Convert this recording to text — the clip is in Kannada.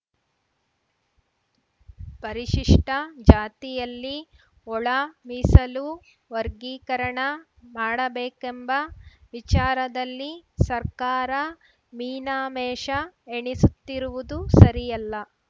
ಪರಿಶಿಷ್ಟಜಾತಿಯಲ್ಲಿ ಒಳ ಮೀಸಲು ವರ್ಗೀಕರಣ ಮಾಡಬೇಕೆಂಬ ವಿಚಾರದಲ್ಲಿ ಸರ್ಕಾರ ಮೀನ ಮೇಷ ಎಣಿಸುತ್ತಿರುವುದು ಸರಿಯಲ್ಲ